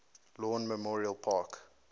lawn memorial park